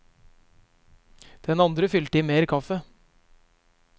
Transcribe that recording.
Den andre fylte i mer kaffe.